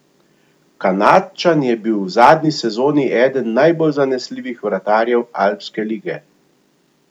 Kanadčan je bil v zadnji sezoni eden najbolj zanesljivih vratarjev Alpske lige.